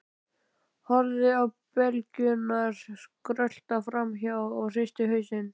Horfði á beljurnar skrölta fram hjá og hristi hausinn.